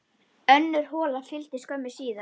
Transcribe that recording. Önnur hola fylgdi skömmu síðar.